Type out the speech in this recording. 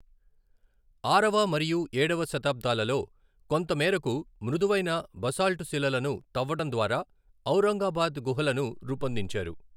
ఆరవ మరియు ఏడవ శతాబ్దాలలో కొంత మేరకు మృదువైన బసాల్టుశిలలను తవ్వడం ద్వారా ఔరంగాబాద్ గుహలను రూపొందించారు.